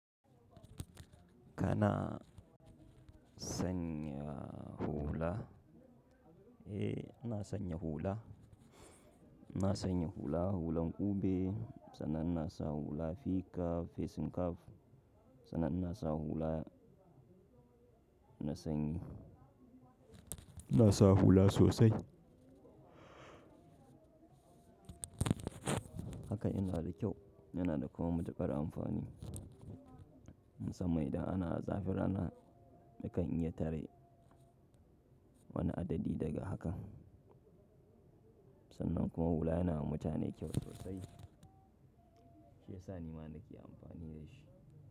Kana sanya hula? Eh ina sanya hula ina sanya hulan kube sannan inasa hula fikaf fesinkaf sannan ina sanya hula na sanyi ina sa hula sosai. Haka yana da kyau yana da kuma matuƙar amfani. Musamman idan ana zafin rana, nakan iya tare wani adadi daga haka. Sannan kuma hula yana ma mutane kyau sosai. Shiyasa nima nake amfani dashi.